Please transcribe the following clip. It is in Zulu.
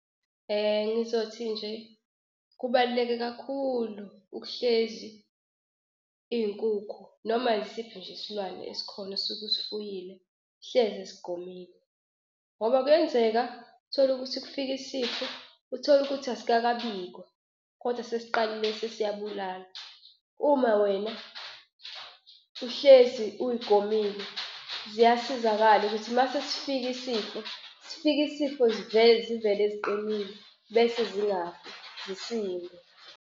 Ngizothi nje kubaluleke kakhulu ukuhlezi iy'nkukhu noma yisiphi nje isilwane esikhona osuke usifuyile, hlezi zigomile ngoba kuyenzeka utholukuthi kufika isifo utholukuthi asikakabikwa, kodwa sesiqalile sesiyabulala. Uma wena uhlezi uyigomile ziyasizakala ukuthi mase sifika isifo, sifike isifo zivele ziqinile bese zingafi zisinde.